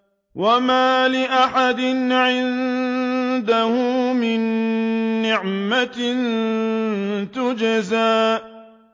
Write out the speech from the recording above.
وَمَا لِأَحَدٍ عِندَهُ مِن نِّعْمَةٍ تُجْزَىٰ